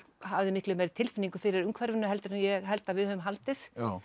hafði miklu meiri tilfinningu fyrir umhverfinu heldur en ég held að við höfum haldið